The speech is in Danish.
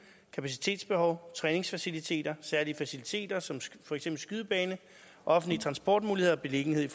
kapacitetsbehov træningsfaciliteter særlige faciliteter som for eksempel skydebane offentlige transportmuligheder og beliggenhed i